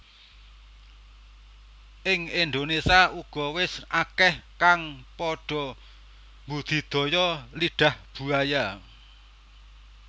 Ing Indonésia uga wis akeh kang padha mbudidaya Lidah Buaya